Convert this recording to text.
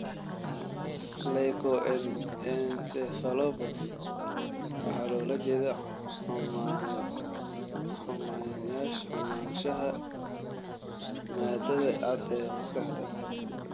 Leukoencephalopathy waxaa loola jeedaa xumaanshaha maadada cad ee maskaxda.